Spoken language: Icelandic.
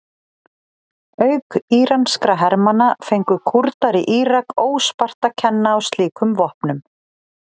Auk íranskra hermanna fengu Kúrdar í Írak óspart að kenna á slíkum vopnum.